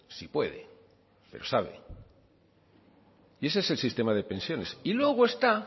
si puede pero sabe y ese es el sistema de pensiones y luego está